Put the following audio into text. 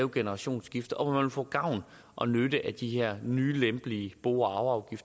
et generationsskifte og hvor man vil få gavn og nytte af de her nye lempelige bo og